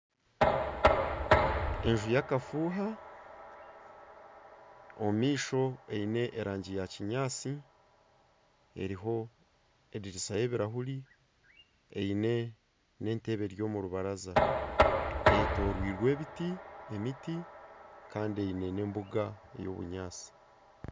Enju y'akafuuha omumaisho eine erangi ya kinyaatsi eriho ediriisa y'ebirahuuri eine n'entebe eri omu rubaraza eyetorirwe ebiti, emiti kandi eine n'embuga ey'obunyaatsi.